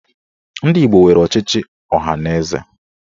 Ndị Igbo nwere ọchịchị ọhaneze.